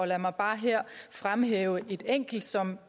lad mig bare her fremhæve et enkelt som